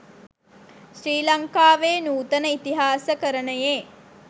ශ්‍රී ලංකාවේ නූතන ඉතිහාසකරනයේ